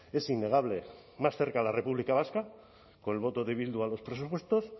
es innegable más cerca la república vasca con el voto de bildu a los presupuestos